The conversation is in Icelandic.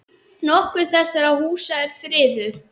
Nokkur þessara húsa eru friðuð.